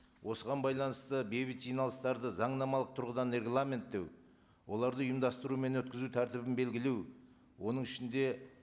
осыған байланысты бейбіт жиналыстарды заңнамалық тұрғыдан регламенттеу оларды ұйымдастыру мен өткізу тәртібін белгілеу оның ішінде